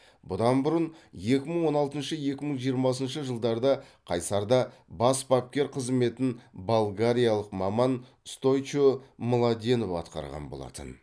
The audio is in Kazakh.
бұдан бұрын екі мың он алтыншы екі мың жиырмасыншы жылдарда қайсарда бас бапкер қызметін болгариялық маман стойчо младенов атқарған болатын